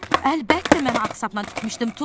Əlbəttə, mən ağ sapla tikmişdim, Tom.